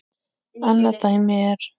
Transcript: Annað dæmi er